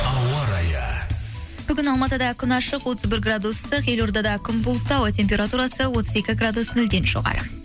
ауарайы бүгін алматыда күн ашық отыз бір градус ыстық елордада күн бұлтты ауа температурасы отыз екі градус нөлден жоғары